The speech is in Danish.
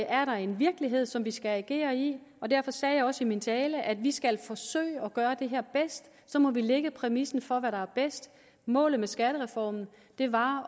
er der en virkelighed som vi skal agere i derfor sagde jeg også i min tale at vi skal forsøge at gøre det her bedst så må vi lægge præmissen for hvad der er bedst målet med skattereformen var